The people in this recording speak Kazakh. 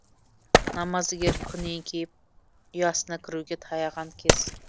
намаздыгер күн еңкейіп ұясына кіруге таяған кез